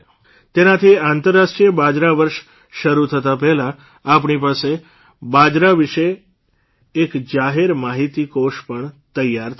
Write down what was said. તેનાથી આંતરરાષ્ટ્રીય બાજરા વર્ષ શરૂ થતાં પહેલાં આપણી પાસે બાજરા વિશે એક જાહેર માહીતી કોશ પણ તૈયાર થશે